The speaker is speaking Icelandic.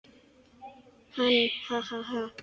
Hann: Ha ha ha.